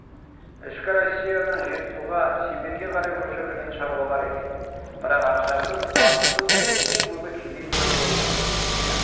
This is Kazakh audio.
ішкі россиядан жетісуға сибирьге қарай көшірілген шаруалар екен бірақ ақшасыз азықсыз көптен-көбі кедей үйлер болған өйткені